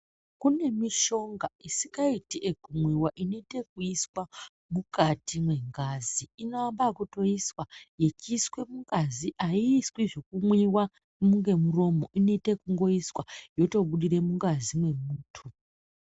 Kune mishonga isikaiti yeku mwiwa inoite yeku iswa mukati me ngazi ino yamba yekuto iswa yechi iswe mungazi ayi iswi zveku mwiwa nge muromo ino ita yekungo iswa yoto budire mungazi mwe muntu.